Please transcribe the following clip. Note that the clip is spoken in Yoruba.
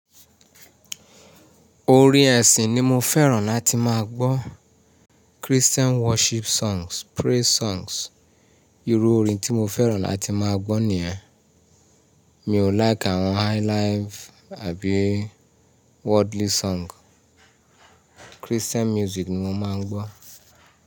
Orin ẹ̀sìn ni mo fẹ́ràn láti máa gbọ́. Christian worship songs, praise songs. Irú orin tí mo fẹ́ràn láti máa gbọ́ nìyẹn. Mi ò like àwọn highlife àbí worldly song. Christian music ni mo máa ń gbọ́.